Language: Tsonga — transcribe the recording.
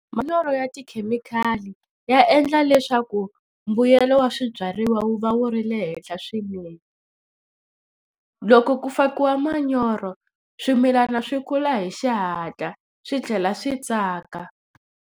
Manyoro ya tikhemikhali ya endla leswaku mbuyelo wa swibyariwa wu va wu ri le henhla swinene. Loko ku fakiwa manyoro swimilana swi kula hi xihatla swi tlhela swi tsaka.